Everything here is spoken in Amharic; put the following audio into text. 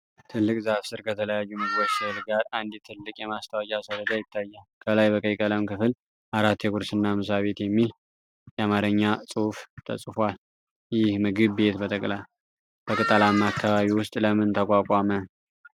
ትልቅ ዛፍ ስር ከተለያዩ ምግቦች ሥዕል ጋር አንድ ትልቅ የማስታወቂያ ሰሌዳ ይታያል። ከላይ በቀይ ቀለም "ክፍል ፬ የቁርስና ምሳ ቤት" የሚል የአማርኛ ጽሑፍ ተጽፏል። ይህ ምግብ ቤት በቅጠላማ አካባቢ ውስጥ ለምን ተቋቋመ?